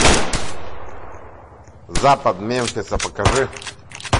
запад мемфиса покажи